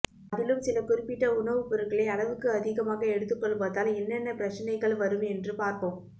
அதிலும் சில குறிப்பிட்ட உணவுப் பொருள்களை அளவுக்கு அதிகமாக எடுத்துக் கொள்வதால் என்னென்ன பிரச்சனைகள் வரும் என்று பார்ப்போம்